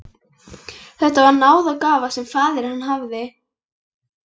Þetta var náðargáfa sem faðir minn hafði.